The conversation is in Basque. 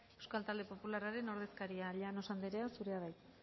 euskal talde popularraren ordezkaria llanos anderea zurea da hitza